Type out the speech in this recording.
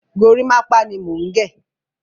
Gorímápá ni mò ń gẹ̀.